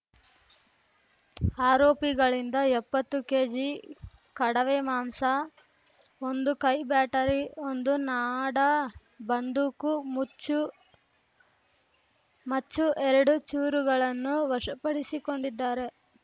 ಆರೋಪಿಗಳಿಂದ ಎಪ್ಪತ್ತು ಕೆಜಿ ಕಡವೆ ಮಾಂಸ ಒಂದು ಕೈ ಬ್ಯಾಟರಿ ಒಂದು ನಾಡ ಬಂದೂಕು ಮುಚ್ಚು ಮಚ್ಚು ಎರಡು ಚೂರುಗಳನ್ನು ವಶಪಡಿಸಿಕೊಂಡಿದ್ದಾರೆ